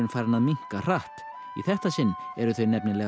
farinn að minnka hratt í þetta sinn eru þau